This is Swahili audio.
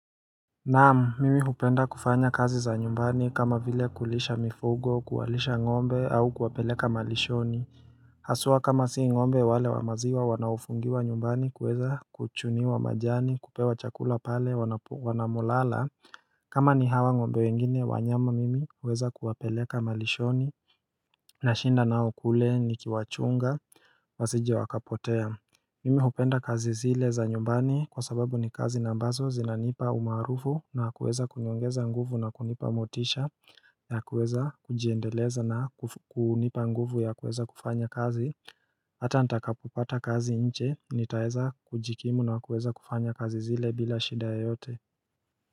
Naam mimi hupenda kufanya kazi za nyumbani kama vile kulisha mifugo kuwalisha ng'ombe au kuwapeleka malishoni Haswa kama si ng'ombe wale wa maziwa wanaofungiwa nyumbani kuweza kuchuniwa majani kupewa chakula pale wanapo wanamolala kama ni hawa ng'ombe wengine wanyama mimi huweza kuwapeleka malishoni nashinda nao kule nikiwachunga wasije wakapotea Mimi hupenda kazi zile za nyumbani kwa sababu ni kazi na ambazo zinanipa umaarufu na kuweza kuniongeza nguvu na kunipa motisha ya kuweza kujiendeleza na kunipa nguvu ya kuweza kufanya kazi Hata nitakapo pata kazi nje nitaweza kujikimu na kuweza kufanya kazi zile bila shida yeyote.